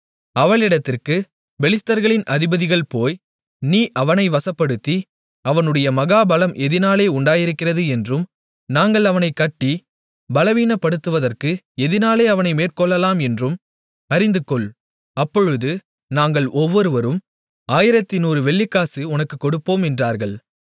அவளிடத்திற்கு பெலிஸ்தர்களின் அதிபதிகள் போய் நீ அவனை வசப்படுத்தி அவனுடைய மகா பலம் எதினாலே உண்டாயிருக்கிறது என்றும் நாங்கள் அவனைக் கட்டி பலவீனப்படுத்துவதற்கு எதினாலே அவனை மேற்கொள்ளலாம் என்றும் அறிந்துகொள் அப்பொழுது நாங்கள் ஒவ்வொருவரும் 1100 வெள்ளிக்காசு உனக்குக் கொடுப்போம் என்றார்கள்